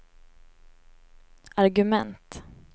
argument